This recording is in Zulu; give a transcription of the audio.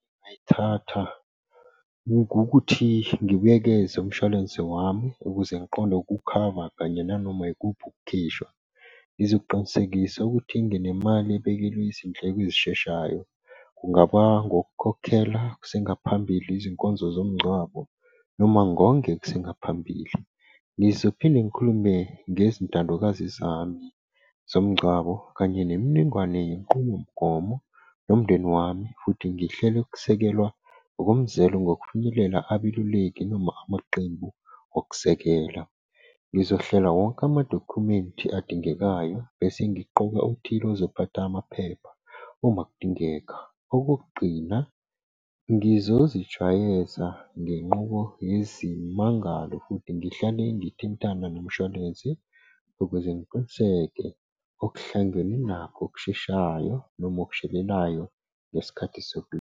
Ngingayithatha ngokuthi ngibuyekeze umshwalense wami ukuze ngiqonde ukukhava kanye nanoma ikuphi ukukhishwa. Ngizoqinisekisa ukuthi nginemali ebekelwe izindleko ezisheshayo, kungaba ngokukhokhela kusengaphambili izinkonzo zomngcwabo noma ngonge kusengaphambili. Ngizophinde ngikhulume ngezintandokazi zami zomngcwabo kanye nemininingwane yenqubomgomo nomndeni wami futhi ngihlele ukusekelwa ngokomzelo ngokufinyelela abeluleki noma amaqembu, okusekela. Ngizohlela wonke amadokhumenti adingekayo bese ngiqoka othile ozophatha amaphepha uma kudingeka. Okokugcina, ngizozijwayeza ngenqubo yezimangalo futhi ngihlale ngithintana nomushwalense ukuze ngiqiniseke okuhlangene nakho okusheshayo noma okushelelayo ngesikhathi .